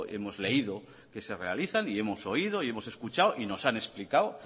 hemos leído que se realizan y hemos oído y hemos escuchado y nos han explicado